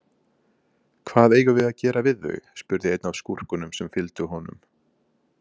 Hvað eigum við að gera við þau, spurði einn af skúrkunum sem fylgdu honum.